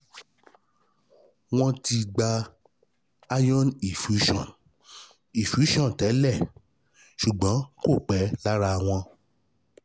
Wọọ́n ti gba iron infusion infusion tẹ́lẹ̀, ṣùgbọ́n kò pẹ́ lára wọn